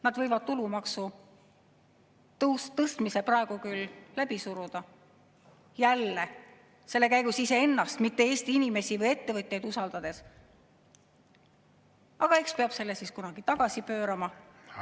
Nad võivad tulumaksu tõstmise praegu küll läbi suruda – usaldades selle käigus jälle iseennast, mitte Eesti inimesi või ettevõtjaid –, aga eks peab selle siis kunagi tagasi pöörama.